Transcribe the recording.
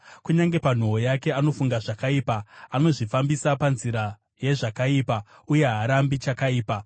Kunyange panhoo yake anofunga zvakaipa; anozvifambisa panzira yezvakaipa uye haarambi chakaipa.